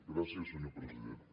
gràcies senyor president